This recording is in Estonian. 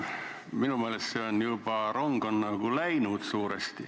Minu meelest on rong juba nagu suuresti läinud.